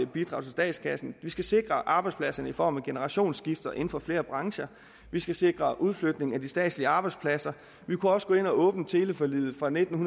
bidrag til statskassen vi skal sikre arbejdspladserne i form af generationsskifte inden for flere brancher vi skal sikre udflytning af de statslige arbejdspladser vi kunne også gå ind og åbne teleforliget fra nitten